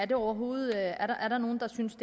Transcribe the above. der overhovedet er nogen der synes